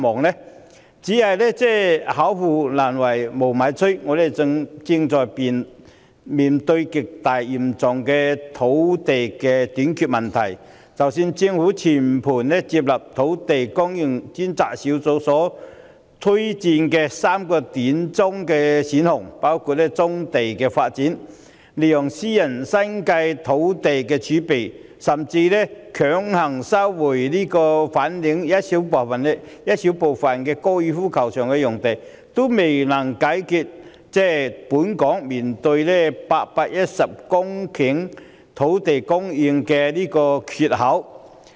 然而，巧婦難為無米炊，我們正面對極為嚴重的土地短缺問題，即使政府全盤接納專責小組所推薦的3個短中期選項，包括發展棕地、利用私人的新界農地儲備，甚至是強行收回粉嶺高爾夫球場內小部分用地，仍然未能解決本港所面對的810公頃土地供應"缺口"。